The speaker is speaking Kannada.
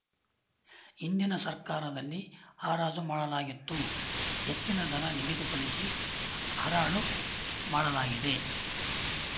ಹಿಂದಿನ ಸರ್ಕಾರದಲ್ಲಿ ಹಾರಾಜು ಮಾಡಲಾಗಿತ್ತು ಹೆಚ್ಚಿನ ದರ ನಿಗದಿಪಡಿಸಿ ಹರಾಡು ಮಾಡಲಾಗಿದೆ